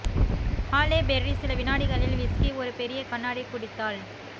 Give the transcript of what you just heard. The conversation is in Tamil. ஹாலே பெர்ரி சில வினாடிகளில் விஸ்கி ஒரு பெரிய கண்ணாடி குடித்தாள்